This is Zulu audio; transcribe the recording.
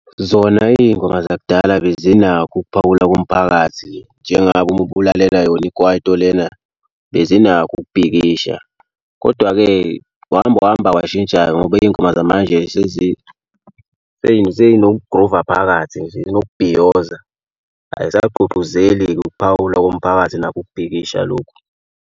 Zona iy'ngoma zakudala bezinakho ukuphawula komphakathi njengabo uma bulalela yona ikwaito lena bezinakho ukubhikisha kodwa-ke wahamba wahamba kwashintsha-ke ngoba iy'ngoma zamanje sey'nokugruva phakathi zinokubhiyoza. Ayisagqugquzeli-ke ukuphawula komphakathi nakho ukubhikisha lokhu.